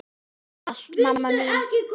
Takk fyrir allt, mamma mín.